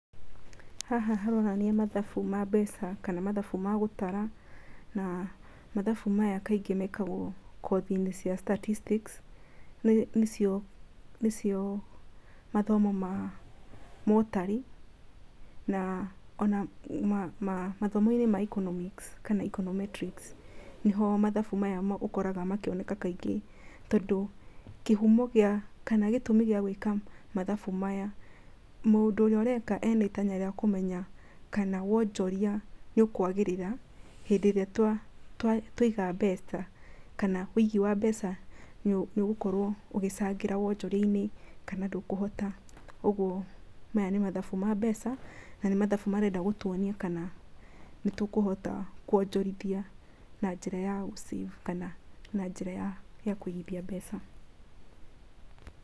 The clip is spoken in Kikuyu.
Haha haronania mathabu ma mbeca kana mathabu ma gũtara, na mathabu maya kaingĩ mekagwo kothinĩ cia statistics nĩ cio mathomo ma mũtari, na ona mathomonĩ ma economics, kana econometrics, nĩho mathabu maya ũkoraga makĩoneka kaingĩ tondũ kĩhumo kana gĩtũmi gĩa gũĩka mathabu maya, mũndũ ũrĩa areka ena itanya rĩakũmenya kana wonjoria nĩ ũkwagĩrĩra hĩndĩ ĩrĩa twaiga mbeca kana wĩigiĩ wa mbeca nĩũgũkorwo ũgĩcangĩra wonjoriainĩ kana ndũkũhota, ũguo aya nĩmathabu ma mbeca na nĩ mathabu marenda gũtũonia kana nĩ tũkũhota kwonjorithia na njĩra ya gũ save, kana na njĩra ya kũigithia mbeca.